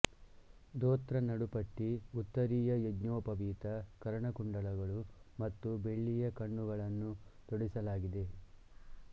ಧೋತ್ರ ನಡುಪಟ್ಟಿ ಉತ್ತರೀಯ ಯಜ್ಞೋಪವೀತ ಕರ್ಣಕುಂಡಲಗಳು ಮತ್ತು ಬೆಳ್ಳಿಯ ಕಣ್ಣುಗಳನ್ನು ತೊಡಿಸಲಾಗಿದೆ